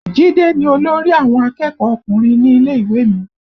Jide ni olórí àwọn akẹ́kọ̀ọ́ ọkùnrin ilé ìwé mi